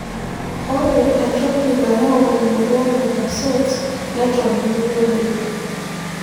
Ore entoki nayau emoyian e Behcets neton meyioloi.